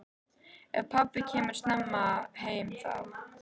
Ef pabbi kemur snemma heim þá.